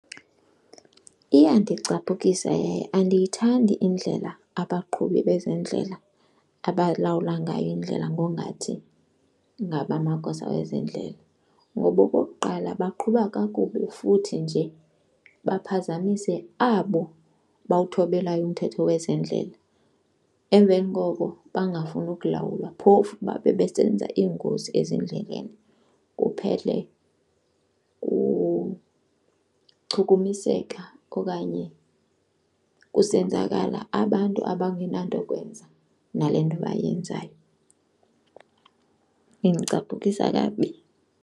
Iyandicapukisa, andiyithandi indlela abaqhubi bezendlela abalawula ngayo indlela ngongathi ngabo amagosa ezendlela. Ngoba okokuqala baqhuba kakubi futhi nje baphazamise abo bawuthobelayo umthetho wezendlela, emveni koko bangafuni ukulawula phofu babe besebenza iingozi ezindleleni kuphele kuchukumiseka okanye kusenzakala abantu abangenanto kwenza nale nto bayenzayo. Indicaphukisa kakubi.